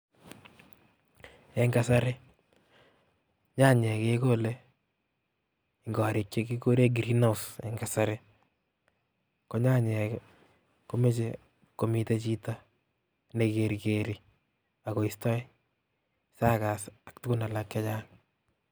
Eng kasari nyanyek kekole eng korik chekikure green house eng kasari ko nyanyek komeche komite chito nekerkeri akoistoi suckers ak tugun alak chechang